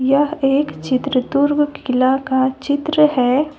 यह एक चित्र तुर्क किला का चित्र है।